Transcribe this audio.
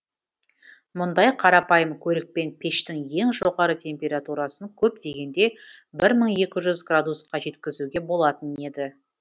мұндай қарапайым көрікпен пештің ең жоғары температурасын көп дегенде бір мың екі жүз градусқа жеткізуге болатын еді